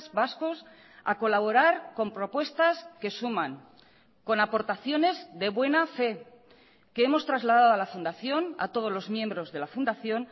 vascos a colaborar con propuestas que suman con aportaciones de buena fe que hemos trasladado a la fundación a todos los miembros de la fundación